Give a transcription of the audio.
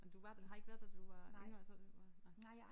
Men du var har ikke været der da du var yngre så da du var